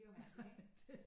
Bliver jo mærkeligt ikke